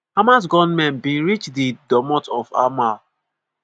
hamas gunmen bin reach di domot of hamal.